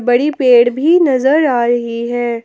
बड़ी पेड़ भी नजर आ रही है।